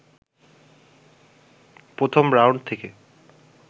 প্রথম রাউন্ড থেকে